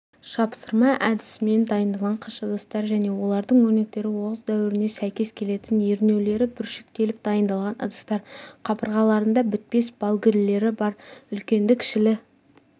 жапсырма әдісімен дайындалған қыш ыдыстар және олардың өрнектері оғыз дәуіріне сәйкес келетін ернеулері бүршіктеліп дайындалған ыдыстар қабырғаларында бітпес балгілері бар үлкенді-кішілі